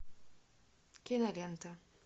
кинолента